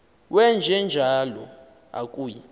wenje njalo akuyi